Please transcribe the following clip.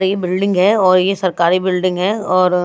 ये बिल्डिंग है और ये सरकारी बिल्डिंग है और--